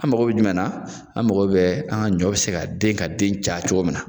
An mago bɛ jumɛn an mago bɛ an ka ɲɔ bɛ se ka den ka den caya cogo min na